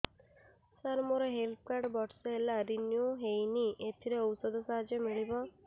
ସାର ମୋର health card ବର୍ଷେ ହେଲା ରିନିଓ ହେଇନି ଏଥିରେ ଔଷଧ ସାହାଯ୍ୟ ମିଳିବ